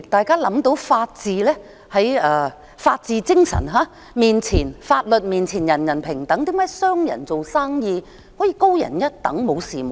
根據法治精神，在法律面前人人平等，為何商人做生意便可以高人一等？